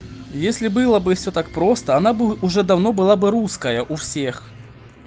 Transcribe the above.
если было бы все так просто она бы уже давно была бы русская у всех